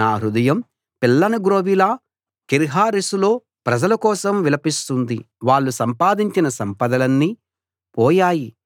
నా హృదయం పిల్లనగ్రోవిలా కీర్హరెశులో ప్రజల కోసం విలపిస్తుంది వాళ్ళు సంపాదించిన సంపదలన్నీ పోయాయి